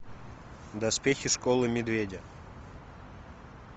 доспехи школы медведя